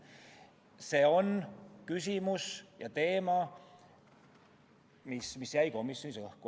See on küsimus ja teema, mis jäi komisjonis õhku.